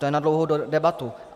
To je na dlouhou debatu.